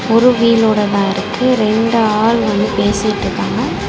ஒரு வீலோட தா இருக்கு இரண்டு ஆள் வந்து பேசிட்டுருக்காங்க.